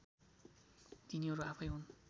तिनीहरू आफैँ हुन्